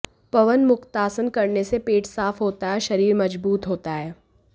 पवनमुक्तासन करने से पेट साफ होता है और शरीर मजबूत होता है